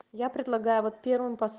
я предлагаю вот первым